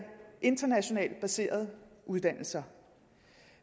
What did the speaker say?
internationalt baserede uddannelser